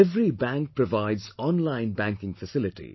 Every bank provides online banking facility